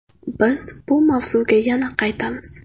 Biz bu mavzuga yana qaytamiz.